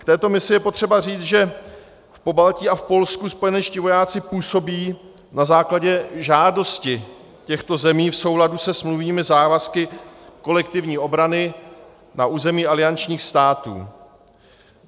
K této misi je potřeba říci, že v Pobaltí a v Polsku spojenečtí vojáci působí na základě žádosti těchto zemí v souladu se smluvními závazky kolektivní obrany na území aliančních států.